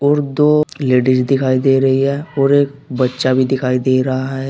और दो लेडीज दिखाई दे रही है और एक बच्चा भी दिखाई दे रहा है।